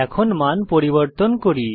এখন মান পরিবর্তন করি